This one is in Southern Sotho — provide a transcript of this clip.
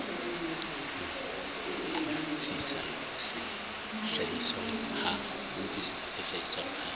utlwi sisa se hlahiswang ha